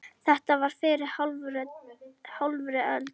Þetta var fyrir hálfri öld.